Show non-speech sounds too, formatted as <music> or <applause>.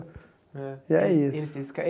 Eh <unintelligible> E é isso.